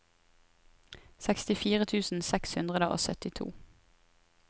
sekstifire tusen seks hundre og syttito